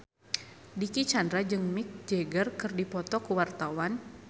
Dicky Chandra jeung Mick Jagger keur dipoto ku wartawan